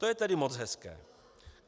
To je tedy moc hezké.